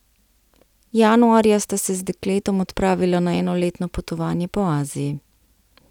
Januarja sta se z dekletom odpravila na enoletno potovanje po Aziji.